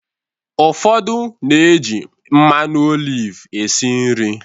Ụfodu na-eji mmanụ oliv esi nri.